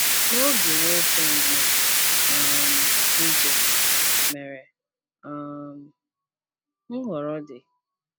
N’oge, Wolfgang na um Brigitte mere um nhọrọ dị